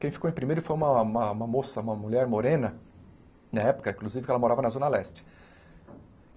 Quem ficou em primeiro foi uma uma uma moça, uma mulher morena, na época, inclusive, que ela morava na Zona Leste.